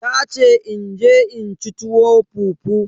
Tace in je in ci tuwo fufu.